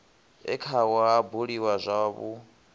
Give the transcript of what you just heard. e khao ha buliwa zwavhui